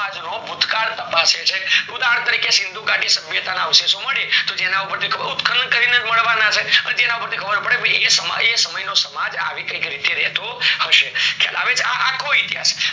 ભૂત કાલ તપાસે છે ઉદાહરણ તરીકે સિંધુ ગાડી સંસ્થા ના અવશેષો મળે તો એના ઉપર ઉત્ખન કરીને મળવાના છે પછી એના ઉપર થી ખબર પડે એ સમય નો સમાજ આવી કૈક રીતે રેતો હયસે ચલાવે અ અખો ઈતિહાસ